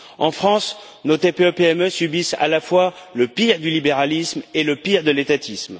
En France, nos TPE PME subissent à la fois le pire du libéralisme et le pire de l'étatisme.